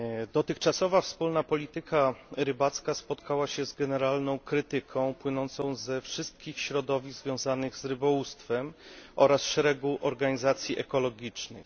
Dotychczasowa wspólna polityka rybacka spotkała się z generalną krytyką płynącą ze wszystkich środowisk związanych z rybołówstwem oraz szeregu organizacji ekologicznych.